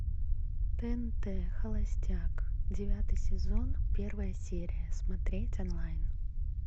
тнт холостяк девятый сезон первая серия смотреть онлайн